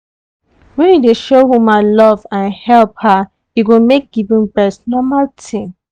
when you dey show woman love and help her e go make giving breast normal thing.